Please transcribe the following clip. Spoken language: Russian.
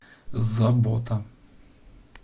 забота